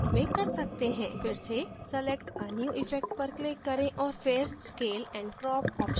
फिर से select a new effect पर click करें औऱ फिर scale and crop option पर click करें